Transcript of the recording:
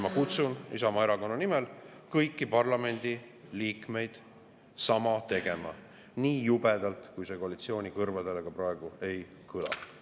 Ma kutsun Isamaa Erakonna nimel kõiki parlamendiliikmeid sama tegema, nii jubedalt kui see koalitsiooni kõrvadele ka praegu ei kõla.